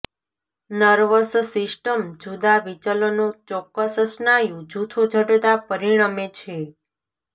nervous system જુદાં વિચલનો ચોક્કસ સ્નાયુ જૂથો જડતા પરિણમે છે